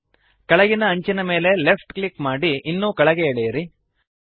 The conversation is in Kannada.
ಕೆಳಗಿನ ಅಂಚಿನ ಮೇಲೆ ಲೆಫ್ಟ್ ಕ್ಲಿಕ್ ಮಾಡಿ ಇನ್ನೂ ಕೆಳಗೆ ಎಳೆಯಿರಿ